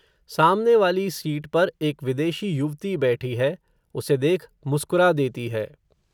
सामने वाली सीट पर, एक विदेशी युवति बैठी है, उसे देख, मुस्कुरा देती है